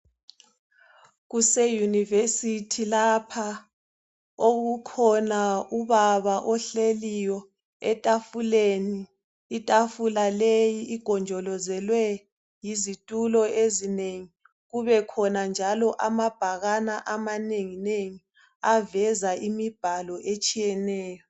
Kuseuniversity lapha okukhona ubaba ohleliyo efafuleni .Itafula leyi igonjolozelwe yizitulo ezinengi .Kubekhona njalo amabhakane amanenginengi aveza imibhalo etshiyeneyo .